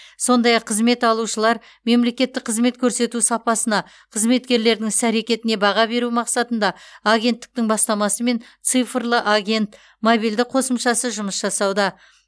сондай ақ қызмет алушылар мемлекеттік қызмет көрсету сапасына қызметкерлердің іс әрекетіне баға беру мақсатында агенттіктің бастамасымен цифрлы агент мобильді қосымшасы жұмыс жасауда